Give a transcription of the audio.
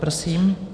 Prosím.